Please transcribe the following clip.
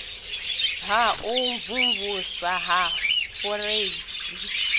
ha u mvumvusa ya fureisi